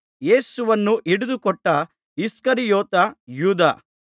ಯೇಸುವನ್ನು ಹಿಡಿದುಕೊಟ್ಟ ಇಸ್ಕರಿಯೋತ ಯೂದ